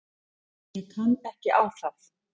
Ég kann ekki á það.